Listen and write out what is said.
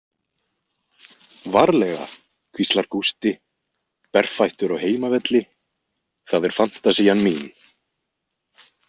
Varlega, hvíslar Gústi, berfættur á heimavelli, það er fantasían mín.